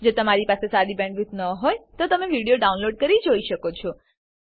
જો તમારી પાસે સારી બેન્ડવિડ્થ ન હોય તો તમે વિડીયો ડાઉનલોડ કરીને જોઈ શકો છો